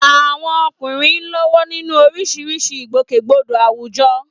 Àwọn ọkùnrin ń lọ́wọ́ nínú oríṣiríṣi ìgbòkègbodò àwùjọ.